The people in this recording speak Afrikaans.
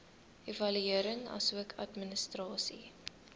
evaluering asook administrasie